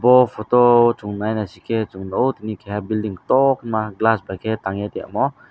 bo photo o chung nai naisikje chung nukgo tini keha building kotoh khema glass bai khe tangye tongmo.